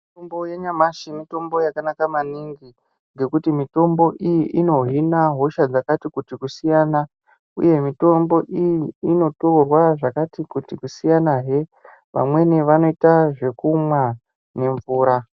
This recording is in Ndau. Mitombo yanyamashi mitombo yakanaka maningi ngekuti mitombo iyi inohina hosha dzakati kuti kusiyana. Uye mitombo iyi inotorwa zvakati kuti kusiyanahe, vamweni vanoita zvekumwa nemvura.